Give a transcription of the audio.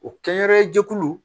O kɛyɛrɛ jɛkulu